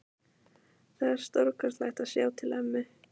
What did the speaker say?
Það var stórkostlegt að sjá til ömmu.